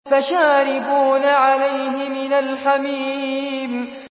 فَشَارِبُونَ عَلَيْهِ مِنَ الْحَمِيمِ